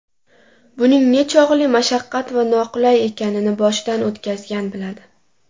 Buning nechog‘li mashaqqat va noqulay ekanini boshidan o‘tkazgan biladi.